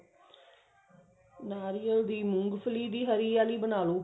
ਨਾਰੀਅਲ ਦੀ ਮੂੰਗਫਲੀ ਦੀ ਹਰੀ ਆਲੀ ਬਣਾਲੋ